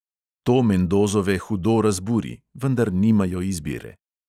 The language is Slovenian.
To mendozove hudo razburi, vendar nimajo izbire.